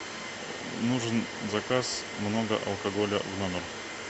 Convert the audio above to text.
нужен заказ много алкоголя в номер